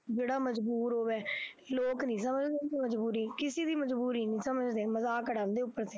ਜਿਹੜਾ ਮਜ਼ਬੂਰ ਹੋਵੇ ਲੋਕ ਨੀ ਸਮਝਦੇ ਮਜ਼ਬੂਰੀ ਕਿਸੇ ਦੀ ਮਜ਼ਬੂਰੀ ਨੀ ਸਮਝਦੇ ਮਜ਼ਾਕ ਉਡਾਉਂਦੇ ਉੱਪਰ ਦੀ।